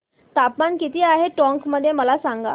तापमान किती आहे टोंक मध्ये मला सांगा